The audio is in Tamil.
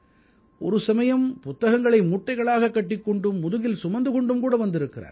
ஒரு சமயம் புத்தகங்களை மூட்டைகளாகக் கட்டிக் கொண்டும் முதுகில் சுமந்து கொண்டும்கூட வந்திருக்கிறார்கள்